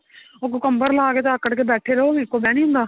ਉਹ cucumber ਲਾ ਕੇ ਤਾਂ ਆਕੜ ਕੇ ਬੈਠੇ ਰਹੋ ਫ਼ਿਰ ਉਹ ਨਿਕਲਦਾ ਨਹੀਂ ਹੁੰਦਾ